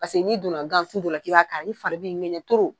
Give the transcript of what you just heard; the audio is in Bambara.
Paseke ni donna gan sun kɔrɔ k'i b'a kari i fari b'i ŋɛɲɛ toro